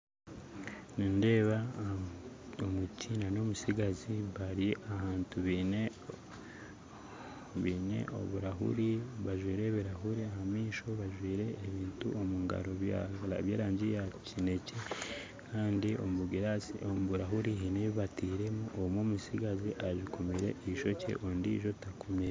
Nindeeba omuti nana omutsigazi bari ahantu beine, oburahuri, bajwire ebirahuri ahamaisho, bajwire ebintu omu ngaro bya birangi yakyinekye kandi omu burahure haine ebi batiremu Kandi omwe omutsigazi akomire ishokye ondijjo takomire